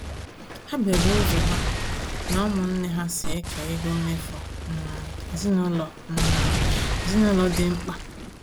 Ha bidoro ụzọ ha na ụmụnne ha si eke ego mmefu um ezinaụlọ um ezinaụlọ dị mkpa